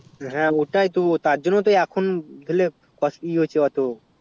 হ্যাঁ ওটাই তো তার জন্য তো এখন ধরলে ক ই